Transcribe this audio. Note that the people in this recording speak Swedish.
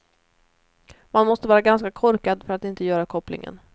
Man måste vara ganska korkad för att inte göra kopplingen.